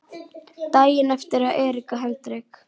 Daginn eftir að Erika Hendrik